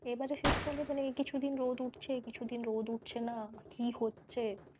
এবারে শীতকালে মানে কিছু দিন রোদ উঠছে কিছু দিন রোদ উঠছে না কী হচ্ছে,